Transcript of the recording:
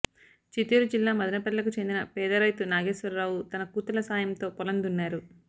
చిత్తూరు జిల్లా మదనపల్లెకు చెందిన పేద రైతు నాగేశ్వరరావు తన కూతుళ్ల సాయంతో పొలం దున్నారు